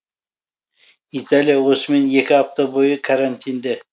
италия осымен екі апта бойы карантинде